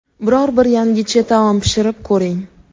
biror bir yangicha taom pishirib ko‘ring.